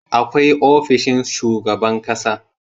Akwai ofishin shugaban ƙasa